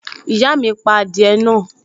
Ìyá mi pa adìẹ náà